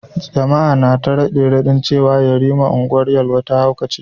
Jama’a na ta rade-radin cewa yariman Ungwar Yelwa ya haukace.